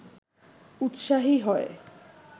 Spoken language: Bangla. উৎসাহী হয়